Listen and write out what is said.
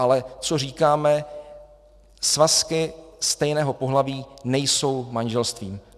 Ale co říkáme - svazky stejného pohlaví nejsou manželstvím.